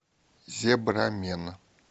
зебрамен